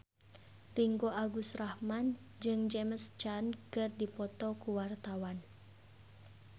Ringgo Agus Rahman jeung James Caan keur dipoto ku wartawan